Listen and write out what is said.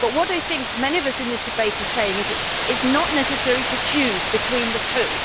But what I think many of us in this debate are saying is that it is not necessary to choose between the two.